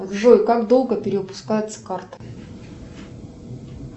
джой как долго перевыпускается карта